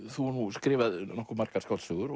þú hefur skrifað nokkuð margar skáldsögur